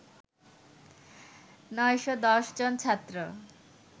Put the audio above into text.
৯১০ জন ছাত্র